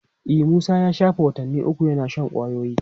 E, Musa ya shafe watanni uku yana shan kwayoyi.